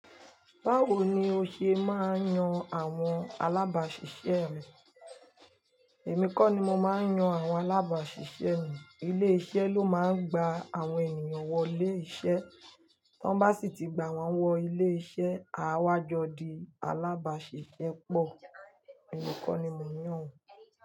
Báwo ni o ṣe máa ń yan àwọn alábàáṣiṣẹ́ rẹ? Èmi kọ́ ni mo máa ń yan àwọn alábáṣiṣẹ́ mi. Ilé-iṣẹ́ ló máa ń gba àwọn ènìyàn wọléiṣẹ́. Tan bá sì ti gba wọ́n wọléiṣẹ́, aawa jo di alábàáṣiṣẹ́ pọ̀. Èmi kọ́ ni mo ń yàn wọ́n.